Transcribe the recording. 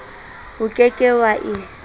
o ke ke wa e